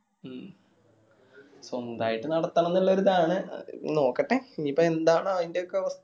മ്മ് സ്വന്തായിട്ട് നടത്തണം ന്ന് ഇള്ള ഒരിത് ആണ് അത് ഇനി നോക്കട്ടെ ഇനിയിപ്പോ എന്താണ് അയിന്റെ ഒക്കെ അവസ്ഥ